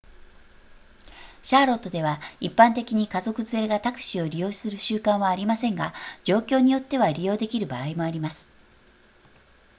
シャーロットでは一般的に家族連れがタクシーを利用する習慣はありませんが状況によっては利用できる場合もあります